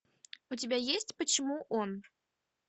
у тебя есть почему он